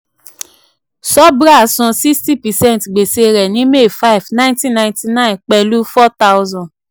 subhra san sixty percent gbèsè rẹ̀ ní may five nineteen ninety-nine pẹ̀lú four thousand